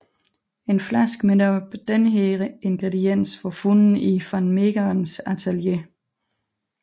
En flaske med netop denne ingrediens var fundet i van Meegerens atelier